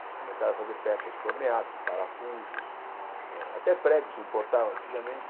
Eles começaram a fazer peças torneadas, parafusos, hã até pregos se importavam antigamente.